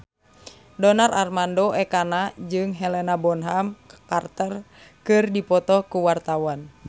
Donar Armando Ekana jeung Helena Bonham Carter keur dipoto ku wartawan